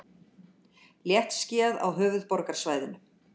Léttskýjað á höfuðborgarsvæðinu